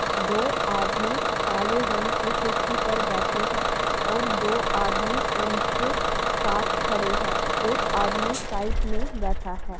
दो आदमी काले रंग की कुर्सी पर बैठे हैं और दो आदमी उनके साथ खड़े हैं। एक आदमी साइड में बैठा है।